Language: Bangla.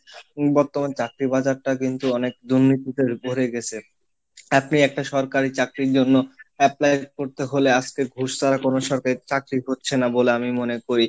বর্তমান চাকরীর বাজারটা কিন্তু অনেক দুর্নীতিতে ভরে গেছে, আপনি একটা সরকারি চাকরির জন্য apply করতে হলে আজকে ঘুষ ছাড়া কোন সরকারি চাকরি হচ্ছে না বলে আমি মনে করি।